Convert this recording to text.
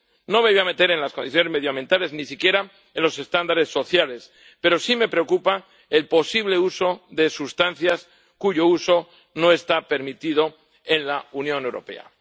No me voy a meter en las condiciones medioambientales, ni siquiera en los estándares sociales, pero sí me preocupa el posible uso de sustancias cuyo uso no está permitido en la Unión Europea.